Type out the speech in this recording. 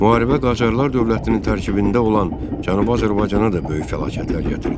Müharibə Qacarlar dövlətinin tərkibində olan Cənubi Azərbaycana da böyük fəlakətlər gətirdi.